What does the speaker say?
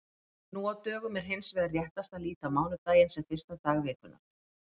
Nú á dögum er hins vegar réttast að líta á mánudaginn sem fyrsta dag vikunnar.